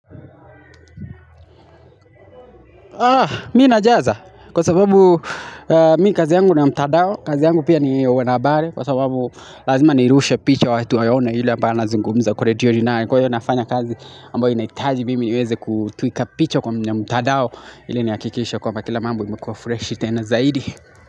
Mi najaza, kwa sababu mi kazi yangu na mtandao, kazi yangu pia ni wanahabari kwa sababu lazima nirushe picha watu waone yule ambaye anazungumza kureti huyo ni nani kwa hio nafanya kazi ambayo inahitaji mimi niweze kutwika picha kwa mtandao, ili nihakikishe kwamba kila mambo imekuwa freshi tena zaidi.